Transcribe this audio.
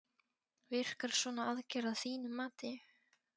Virkar svona aðgerð að þínu mati?